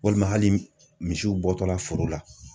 Walima hali misiw bɔtɔla foro la.